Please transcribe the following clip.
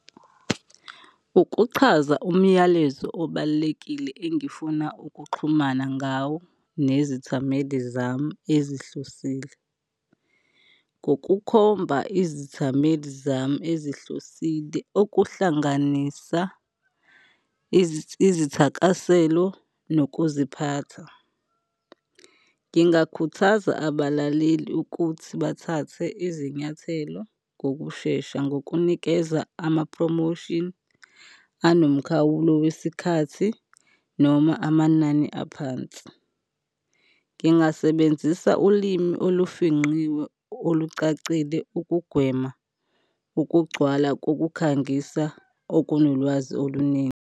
Ukuchaza umyalezo obalulekile engifuna ukuxhumana ngawo nezithameli zami ezihlosile ngokukhomba izithameli zami ezihlosile okuhlanganisa izithakaselo nokuziphatha. Ngingakhuthaza abalaleli ukuthi bathathe izinyathelo ngokushesha ngokunikeza ama-promotion anomkhawulo wesikhathi noma amanani aphansi. Ngingasebenzisa ulimi olufingqiwe olucacile ukugwema ukugcwala kokukhangisa okunolwazi oluningi.